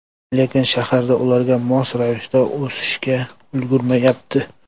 Lekin shaharlar ularga mos ravishda o‘sishga ulgurmayapti.